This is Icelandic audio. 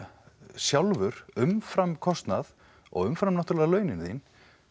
sjálfur umfram kostnað og umfram náttúrulega launin þín